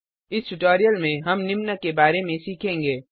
इस ट्यूटोरियल में हम निम्न के बारे में सीखेंगे